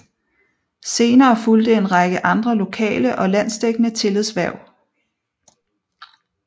Senere fulgte en række andre lokale og landsdækkende tillidshverv